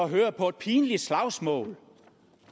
høre på et pinligt slagsmål